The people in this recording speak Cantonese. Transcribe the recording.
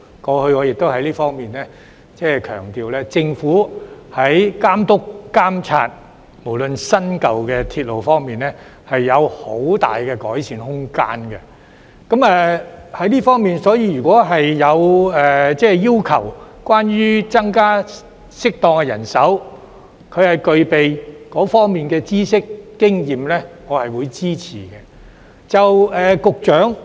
過去，我亦曾強調政府在監督、監察新、舊鐵路方面也有很大改善空間，所以如果政府要求適當增加具備相關知識和經驗的人手，我是會支持的。